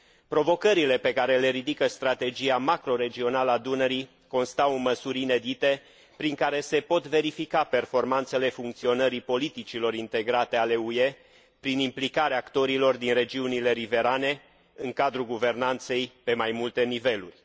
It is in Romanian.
Provocările pe care le ridică strategia macroregională a Dunării constau în măsuri inedite prin care se pot verifica performanțele funcționării politicilor integrate ale UE, prin implicarea actorilor din regiunile riverane în cadrul guvernanței pe mai multe niveluri.